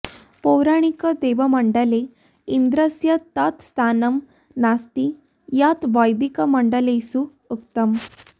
पौराणिकदेवमण्डले इन्द्रस्य तत् स्थानं नास्ति यत् वैदिकमण्डलेषु उक्तम्